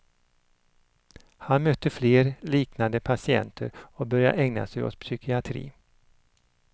Han mötte fler liknande patienter och började ägna sig åt psykiatri.